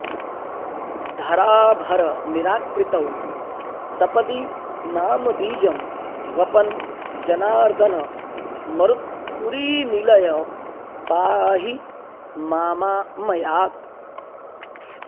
धराभरनिराकृतौ सपदि नाम बीजं वपन् जनार्दन मरुत्पुरीनिलय पाहि मामामयात्